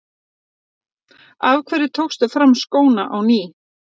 Af hverju tókstu fram skóna á ný?